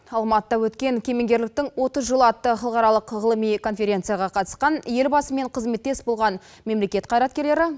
алматыда өткен кемеңгерліктің отыз жылы атты халықаралық ғылыми конференцияға қатысқан елбасымен қызметтес болған мемлекет қайраткерлері